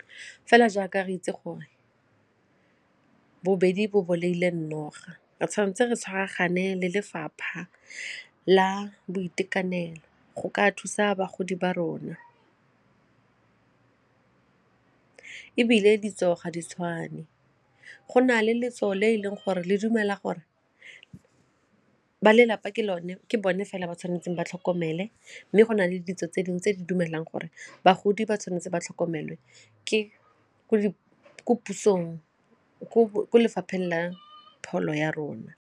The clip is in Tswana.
Fela jaaka re itse gore bobedi bo bolaile noga, re tshwanetse re tshwaragane le lefapha la boitekanelo go ka thusa bagodi ba rona ebile ditso ga di tshwane go na le letso le e leng gore le dumela gore ba lelapa ke bone fela ba tshwanetseng ba tlhoko mmele mme go na le ditso tse dingwe tse di dumelang gore bagodi ba tshwanetse ba tlhokomelwe ko lefapheng la pholo ya rona.